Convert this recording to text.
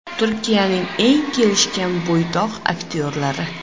Turkiyaning eng kelishgan bo‘ydoq aktyorlari.